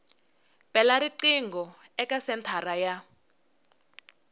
bela riqingho eka senthara ya